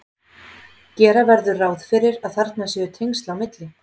Gera verður ráð fyrir að þarna séu tengsl á milli.